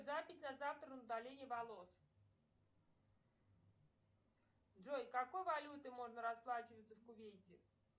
запись на завтра на удаление волос джой какой валютой можно расплачиваться в кувейте